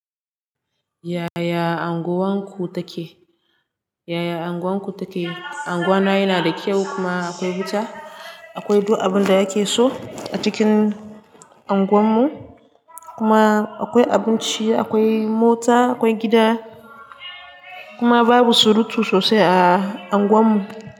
Yaya anguwa ku take? Yaya anguwa ku take? Anguwa na yana da kyau kuma akwai wuta, akwai duk abin da ake so a cikin anguwarmu kuma akwai abinci, akwai mota, akwai gida kuma babu surutu sosai a anguwarmu.